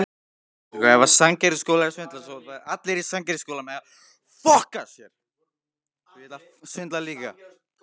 Flugvélum sem tókust lóðrétt á loft.